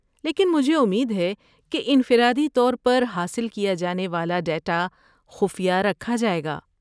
لیکن مجھے امید ہے کہ انفرادی طور پر حاصل کیا جانے والا ڈیٹا خفیہ رکھا جائے گا؟